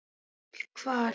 PÁLL: Hvar?